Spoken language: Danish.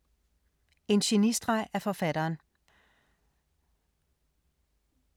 En genistreg af forfatteren